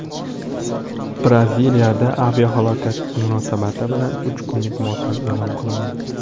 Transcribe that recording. Braziliyada aviahalokat munosabati bilan uch kunlik motam e’lon qilindi .